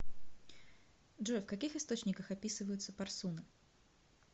джой в каких источниках описывается парсуна